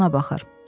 Adamına baxır.